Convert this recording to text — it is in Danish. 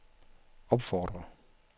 opfordrer